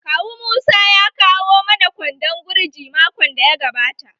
Kawu musa ya kawo mana kwandon gurji makon daya gabata.